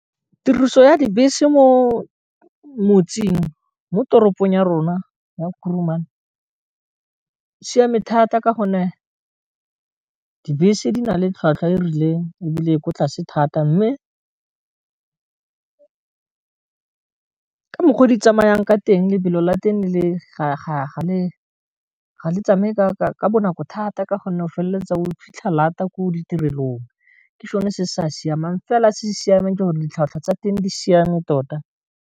Tiriso ya dibese mo motseng mo toropong ya rona ya Kurumane siame thata ka gonne dibese di na le tlhwatlhwa e e rileng e bile e kwa tlase thata mme ka mokgwa o di tsamayang ka teng lebelo la teng ga le tsameka ka bonako thata ka gonne o feleletsa o fitlha lata ko ditirelong, ke sone se sa siamang fela se se siameng ke gore ditlhwatlhwa tsa teng di siame tota.